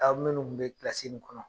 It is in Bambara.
Aw minnu kun be ni kɔnɔ